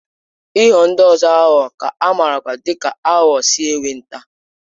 Ịghọ ndị ọzọ aghụghọ ka amarakwa dị ka aghụghọ si enweta.